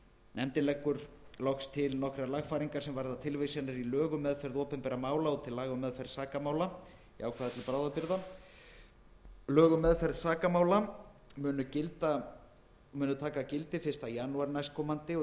nefndin leggur loks til nokkrar lagfæringar sem varða tilvísanir í lög um meðferð opinberra mála og til laga um meðferð sakamála í ákvæði til bráðabirgða lög um meðferð sakamála munu taka gildi fyrsta janúar næstkomandi og